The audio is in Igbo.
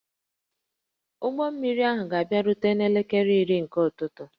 Ụgbọ mmiri ahụ ga-abịarute n'elekere iri nke ụtụtụ